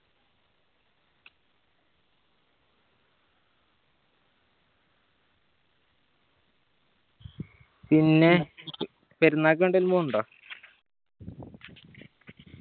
പിന്നെ പെരുന്നാൾക്ക് എങ്ങോട്ടെങ്കിലും പോണിണ്ടോ